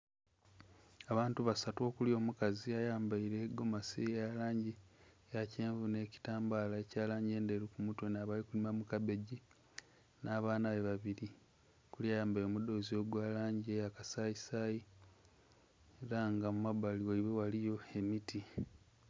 Abantu basatu okuli omukazi ayambaile egomasi eya langi eya kyenvu nh'ekitambaala ekya langi endheru ku mutwe nh'abali kulima mu kabegi, nh'abaana be babili, okuli ayambaile omudhoozi ogwa langi eya kasayisayi. Ela nga mu mabbali ghaibwe ghaliyo emiti.